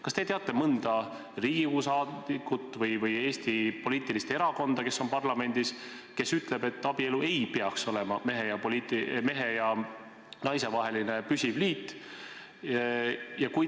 Kas te teate mõnda Riigikogu liiget või Eesti poliitilist erakonda, kes on parlamendis ja kes ütleb, et abielu ei peaks olema mehe ja naise vaheline püsiv liit?